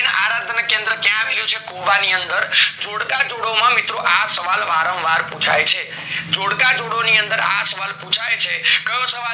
આરાધના કેન્દ્ર ક્યાં આવેલું છે કોબા ની અંદર જોડકા જોડો માં મિત્રો આ સવાલ વારંવાર પુછાય છે જોડકા જોડો ની અંદર આ સવાલ પુછાય છે કયો સવાલ